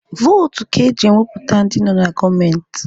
Votu ka eji wepụta ndị nọ na gọọmenti.